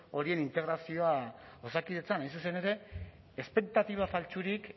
horien integrazioa osakidetzan hain zuzen ere espektatiba faltsurik